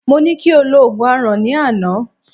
Mọ ní kí o lo Ògùn Aràn, ní àná.